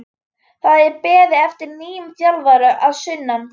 Það er beðið eftir nýjum þjálfara að sunnan.